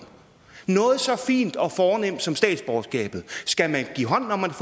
noget så fint og fornemt som statsborgerskabet skal man give hånd når man